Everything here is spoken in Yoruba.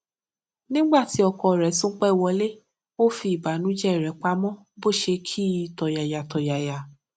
nígbà tí ọkọ rè tún pé wọlé ó fi ìbánújẹ rè pamó bó ṣe kí i tòyàyàtòyàyà